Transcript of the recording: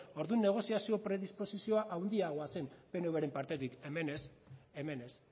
orduan negoziazio predispozizioa handiago zen pnvren partetik hemen ez hemen ez